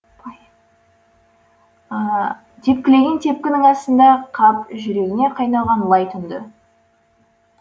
тепкілеген тепкінің астында қап жүрегіне қайнаған лай тұнды